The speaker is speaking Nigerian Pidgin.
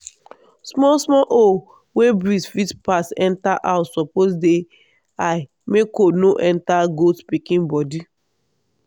small small hole wey breeze fit pass enter house suppose dey high make cold no enter goat pikin body.